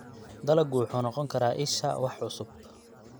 Dalaggu wuxuu noqon karaa isha wax cusub.